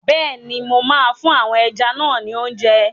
Bẹ́ẹ̀ni, mo máa fún àwọn ẹja náà ni óúnjẹ.